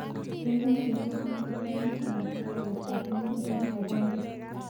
Kaikai itapan panganutikap arawetap angwan tarik agenge.